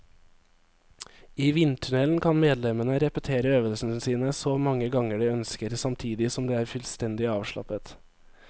I vindtunnelen kan medlemmene repetere øvelsene sine så mange ganger de ønsker, samtidig som de er fullstendig avslappet.